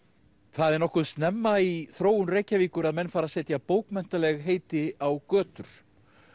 það er nokkuð snemma í þróun Reykjavíkur að menn fara að setja bókmenntaleg heiti á götur